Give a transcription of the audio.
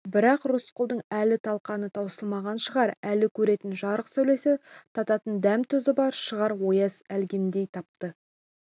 бірақ рысқұлдың әлі талқаны таусылмаған шығар әлі көретін жарық сәулесі тататын дәм-тұзы бар шығар ояз әлгіндей атпа